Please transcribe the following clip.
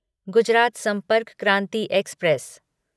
Gujarat Sampark Kranti express